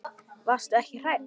Varstu ekki hrædd?